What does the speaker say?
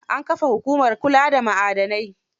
An kafa hukumar kula da ma'adanai.